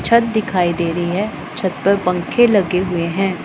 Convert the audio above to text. छत दिखाई दे रही है छत पर पंखे लगे हुए हैं।